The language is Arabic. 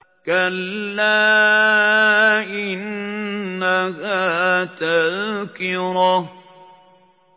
كَلَّا إِنَّهَا تَذْكِرَةٌ